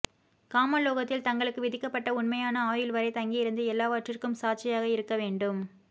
காம லோகத்தில் தங்களுக்கு விதிக்கப்பட்ட உண்மையான ஆயுள் வரை தங்கியிருந்து எல்லாவற்றிற்கும் சாட்சியாக இருக்க வேண்டும்